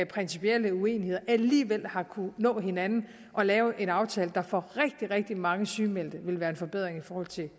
principielle uenigheder alligevel har kunnet nå hinanden og lavet en aftale der for rigtig rigtig mange sygemeldte vil være en forbedring i forhold til